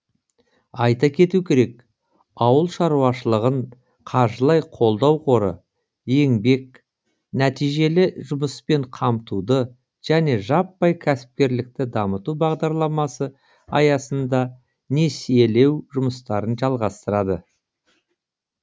айта кету керек ауыл шаруашылығын қаржылай қолдау қоры еңбек нәтижелі жұмыспен қамтуды және жаппай кәсіпкерлікті дамыту бағдарламасы аясында несиелеу жұмыстарын жалғастырады